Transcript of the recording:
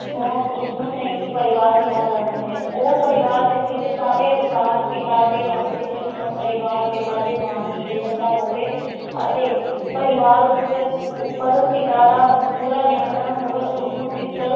ਹੋ ਉਸ ਨੂੰ ਸੰਯੁਕਤ ਪਰਿਵਾਰ ਕਿਹਾ ਜਾਂਦਾ ਹੈ, ਉਹ ਪਰਿਵਾਰ ਜਿਸ ਵਿਚ ਸਾਰੇ ਅਧਿਕਾਰ ਪਿਤਾ ਦੇ ਹੱਥ ਵਿਚ ਹੋਣ ਪਰਿਵਾਰ ਪਿਤਾ ਦੇ ਨਾਮ ਤੇ ਚਲਦਾ ਹੋਵੇ ਅਤੇ ਪਰਿਵਾਰ ਉੱਤੇ ਉੱਪਰ ਪਿਤਾ ਦਾ ਪੂਰਾ ਨਿਯੰਤਰਣ ਹੋਵੇ ਉਸਨੂੰ ਪਿਤ੍ਰ